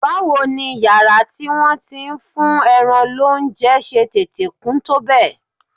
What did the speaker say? Báwo ni yàrá tí wọ́n ti ń fún ẹran lóúnjẹ ṣe tètè kún tó bẹ́ẹ̀?